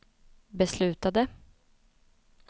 beslutade